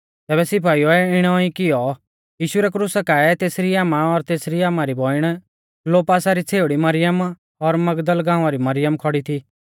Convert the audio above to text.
तैबै सिपाइउऐ इणी ई कियौ यीशु रै क्रुसा काऐ तेसरी आमा और तेसरी आमारी बौइण क्लोपासा री छ़ेउड़ी मरियम और मगदल गांवा री मरियम खौड़ी थी